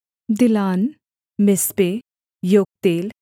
दिलान मिस्पे योक्तेल